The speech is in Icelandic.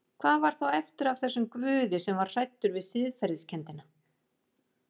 Hvað var þá eftir af þessum Guði sem var hræddur við siðferðiskenndina?